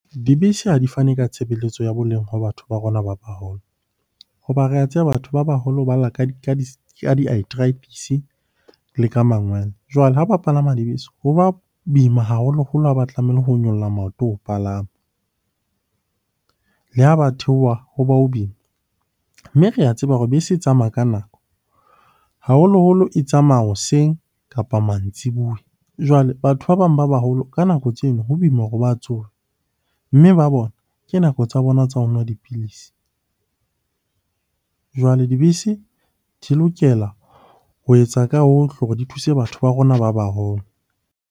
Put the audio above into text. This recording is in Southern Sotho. Dibese ha di fane ka tshebeletso ya boleng ho batho ba rona ba baholo. Ho ba re a tseba batho ba baholo ba lla di-arthritis le ka mangwele. Jwale ha ba palama dibese, ho ba boima haholoholo ha ba tlameile ho nyolla maoto ho palama. Le ha ba theoha ho ba boima. Mme re a tseba hore bese e tsamaya ka nako, haholoholo e tsamaya hoseng kapa mantsibuya. Jwale batho ba bang ba baholo ka nako tseno, ho boima hore ba tsohe. Mme ba bona ke nako tsa bona tsa ho nwa dipilisi. Jwale dibese di lokela ho etsa ka hohle hore di thuse batho ba rona ba baholo.